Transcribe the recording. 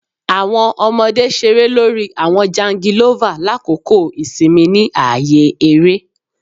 Awọn ọmọde ṣere lori awọn jangilova lakoko isinmi ni aaye ere